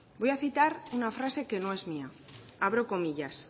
voy a citar una frase que no es mía abro comillas